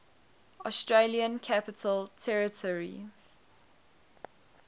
australian capital territory